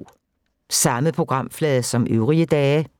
Samme programflade som øvrige dage